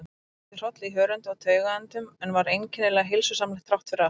Það vakti hroll í hörundi og taugaendum, en var einkennilega heilsusamlegt þráttfyrir allt.